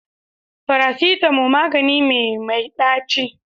Farasitamo magani me mai ɗaci